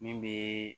Min bɛ